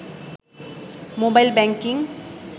mobile banking